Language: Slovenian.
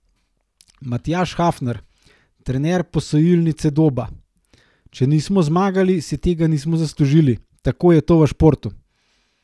Matjaž Hafner, trener Posojilnice Doba: "Če nismo zmagali, si tega nismo zaslužili, tako je to v športu.